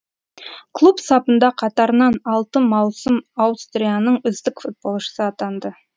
клуб сапында қатарынан алты маусым аустрияның үздік футболшысы атанды